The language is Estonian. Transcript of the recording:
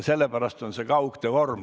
Sellepärast on see kaugtöö vorm.